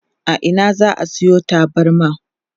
a Ina za'a Sayo tabarma?